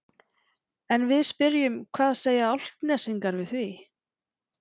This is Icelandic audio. En við spyrjum hvað segja Álftnesingar við því?